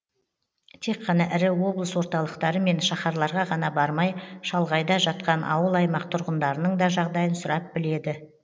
тек қана ірі облыс орталықтары мен шаһарларға ғана бармай шалғайда жатқан ауыл аймақ тұрғындарының да жағдайын сұрап біледі